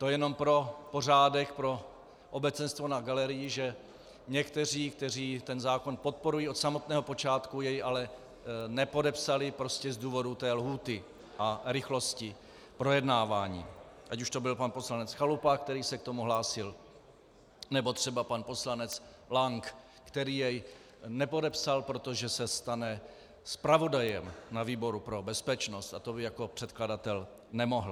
To jenom pro pořádek, pro obecenstvo na galerii, že někteří, kteří ten zákon podporují od samotného počátku, jej ale nepodepsali prostě z důvodu té lhůty a rychlosti projednávání, ať už to byl pan poslanec Chalupa, který se k tomu hlásil, nebo třeba pan poslanec Lank, který jej nepodepsal, protože se stane zpravodajem na výboru pro bezpečnost a to by jako předkladatel nemohl.